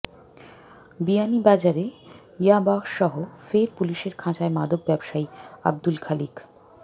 বিয়ানীবাজারে ইয়াবাসহ ফের পুলিশের খাঁচায় মাদক ব্যবসায়ী আব্দুল খালিক